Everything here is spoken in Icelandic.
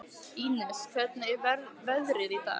Ínes, hvernig er veðrið í dag?